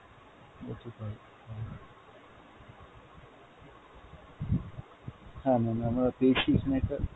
গতকাল, হ্যাঁ ma'am আমরা পেয়েছি এখানে একটা।